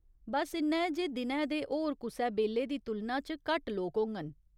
बस्स इन्ना ऐ जे दिनै दे होर कुसै बेल्ले दी तुलना च घट्ट लोक होङन।